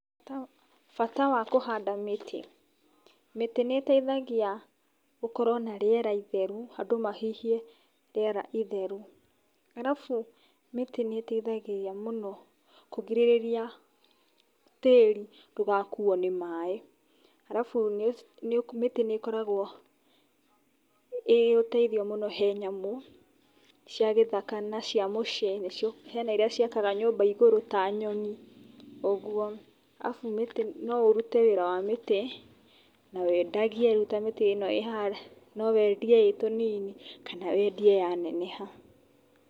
Bata wa kũhanda mĩtĩ. Mĩtĩ nĩ ĩteithagia gũkorwo na rĩera itheru, andũ mahihie rĩera itheru. Arabu mĩtĩ nĩ ĩteithagĩrĩria mũno kũgirĩrĩria tĩri ndũgakuo nĩ maaĩ. Arabu mĩtĩ nĩ ĩkoragwo ĩrĩ ũteithio mũno he nyamũ cia gĩthaka na cia mũciĩ nĩcio; hena iria ciakaga nyũmba igũrũ ta nyoni ũguo. Arabu mĩtĩ, no ũrute wĩra wa mĩtĩ na wendagie rĩu ta mĩtĩ ĩno ĩ haha. No wendie ĩ tũnini kana wendie yaneneha.